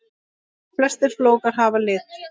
Flestir flókar hafa lit.